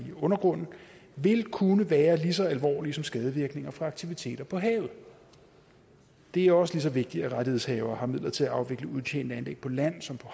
i undergrunden vil kunne være lige så alvorlige som skadevirkninger fra aktiviteter på havet det er også lige så vigtigt at rettighedshavere har midler til at afvikle udtjente anlæg på land som på